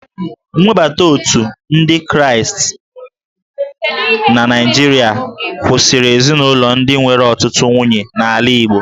Nwebata Otu ndị Kraịstị na Naijiria kwụsịrị ezinaụlọ ndị nwere ọtụtụ nwunye n'ala Igbo